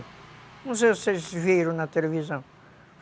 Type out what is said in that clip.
Não sei se vocês viram na televisão.